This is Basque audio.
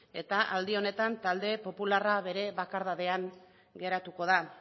eta aldi honetan talde popularra bere bakardadean geratuko da